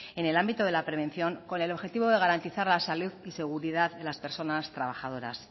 en el ámbito de la prevención con el objetivo de garantizar la salud y seguridad de las personas trabajadoras